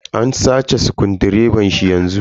An sace dunƙulen direban shi yanzu.